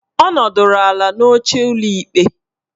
Ọ nọdụrụ ala n'oche ụlọ ikpe